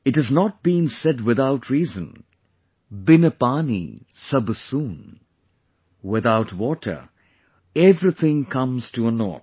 It has not been said without reason, 'BIN PAANI SAB SOON' without water, everything comes to a naught